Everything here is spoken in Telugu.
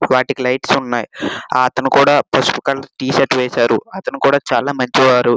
వాటికీ లైట్స్ ఉన్నాయ్. అతను కూడా పసుపు కలర్ టి షర్ట్ వేశారు. అతను కూడా చాలా మంచి వారు.